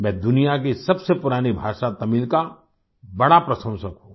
मैं दुनिया की सबसे पुरानी भाषा तमिल का बड़ा प्रशंसक हूँ